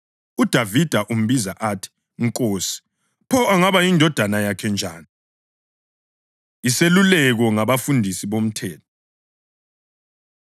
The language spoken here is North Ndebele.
UDavida umbiza athi ‘Nkosi.’ Pho angaba yindodana yakhe njani?” Iseluleko Ngabafundisi Bomthetho